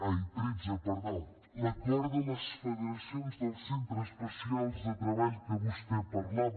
tretze l’acord de les federacions de centres especials de treball que vostè parlava